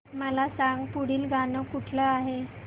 मला सांग पुढील गाणं कुठलं आहे